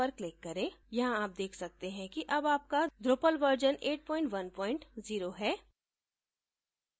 यहाँ आप देख सकते हैं कि अब आपका drupal version 810 है